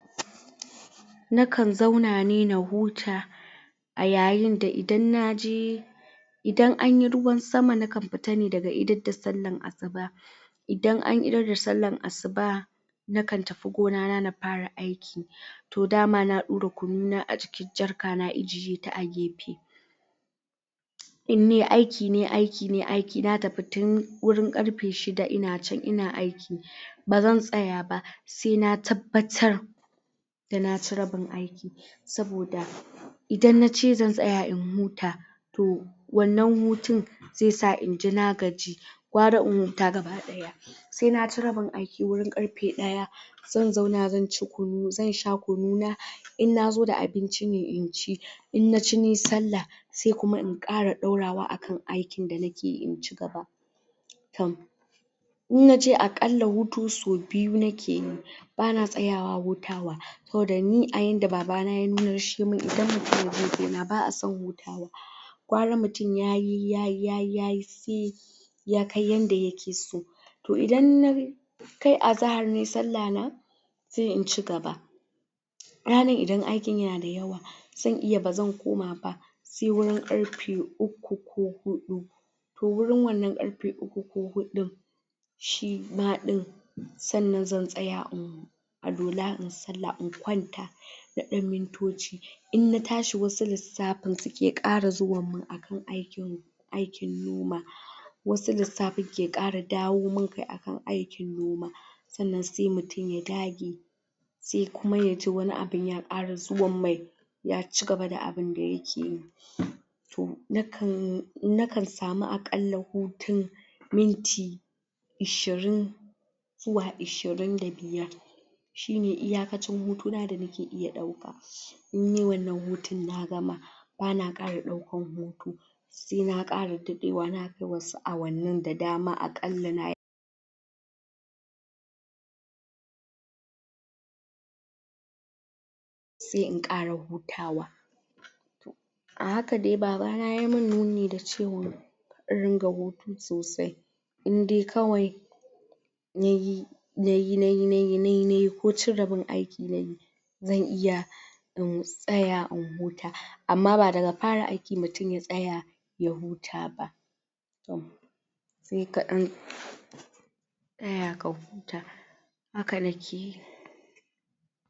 na kan zauna ne na huta a yayin da idan naje idan anyi ruwan sama na kan fita ne daga idar da sallan asuba idan an idar da sallan asuba na kan tafi gona na fara aiki toh dama na daura kunu na a cikin jarka na na ajiye in nayi aiki nayi aiki na tafi tun wurin karfe shida ina can ina aiki bazan tsaya ba sai na tabbatar dana ci rabin aiki saboda idan na ce zan tsaya in huta toh wannan hutun zai sa inji na gaji gwara in huta gaba daya sai na ci rabin aiki wurin karfe daya zan zauna zan sha kunu na in na zo da abinci ne inci in na ci nayi sallah sai kuma in kara daurawa akan aikin da nakeyi in cigaba tohm in na ce a kalla hutu sau biyu nakeyi bana tsaya wa hutawa saboda ni a yanda babana ya nuno mun idan mutum ya je gona ba'a son hutu gewara mutum yayi yayi ya kai yanda yake so toh idan na kai azahar nayi sallah na sai in cigaba ranar idan aikin yana da yawa zan iya bazan koma ba sai wurin karfe uku ko hudu toh wurin wannan karfe uku ko hudun shima din sannan zan tsa in huta alwala inyi sallah in kwanta na dan mintoci in na tashi wasu lissafin suke kara zuwa mun akan aikin noma wasu lissafin ke kara dawo min akan aikin noma sannan sai mutum ya dage sai kuma yaji wani abu ya kara zuwa mai ya cigaba da abun da yake yi toh na kan samu akalla hutun minti ashirin zuwa ashirin da biyar shine iya kacin hutu na nake iya dauka in nayi wannan hutun na gama bana kara daukan hutu sai na kara dadde wa na kai wasu awannin da dama a kalla nayi sai in kara hutawa a haka dai babana yai mun nuni da cewa in ringa hutu sosai in dai kawai nayi nayi nayi nayi ko cin rabin aiki nayi zan iya in tsaya in huta amma daga fara aiki mutum ya tsaya ya huta ba tohm sai ka dan tsaya ka huta haka nakeyi